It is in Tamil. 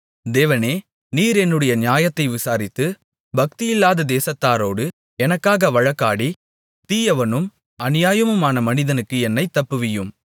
தேவனே நீர் என்னுடைய நியாயத்தை விசாரித்து பக்தியில்லாத தேசத்தாரோடு எனக்காக வழக்காடி தீயவனும் அநியாயமுமான மனிதனுக்கு என்னைத் தப்புவியும்